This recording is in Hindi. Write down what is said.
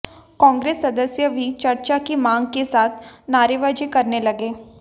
कांग्रेस सदस्य भी चर्चा की मांग के साथ नारेबाजी करने लगे